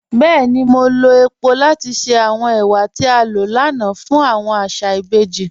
Bẹẹ̀ni, mo lọ epo lati ṣẹ awọn èwà tí a lọ lánà fun awọn àṣà ìbèjì.